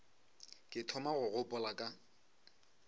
ke thoma go gopola ka